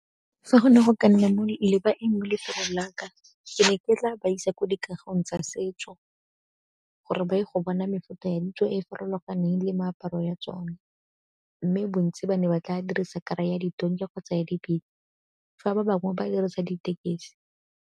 Fa go ne go ka nna le baeng mo lefelong laka, ke ne ke tla ba isa ko dikagong tsa setso gore ba ye go bona mefuta ya ditso e farologaneng le meaparo ya tsone. Mme bontsi ba ne ba tla dirisa kara ya ditonki kgotsa ya dipitse fa ba bangwe ba dirisa ditekesi.